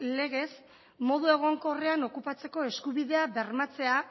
legez modu egonkorrean okupatzeko eskubidea bermatzea